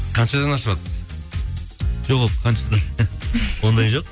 қаншадан ашыватсыз жоқ ол қаншадан ондай жоқ